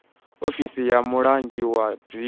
ofisini ya mulangi wa dzingu